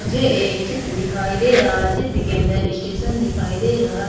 मुझे एक चित्र दिखाई दे रहा है चित्र के अंदर स्टेशन दिखाई दे रहा--